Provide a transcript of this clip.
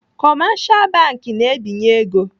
Kọmashal bank na-ebinye ego.